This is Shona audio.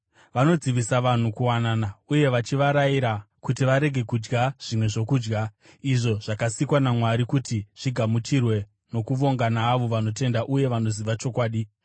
Vanodzivisa vanhu kuwanana uye vachivarayira kuti varege kudya zvimwe zvokudya, izvo zvakasikwa naMwari kuti zvigamuchirwe nokuvonga naavo vanotenda uye vanoziva chokwadi.